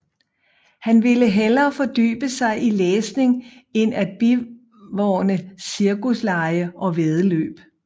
Han ville hellere fordybe sig i læsning end at bivåne cirkuslege og væddeløb